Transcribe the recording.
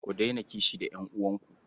Ku daina kishi da ƴan'uwanku.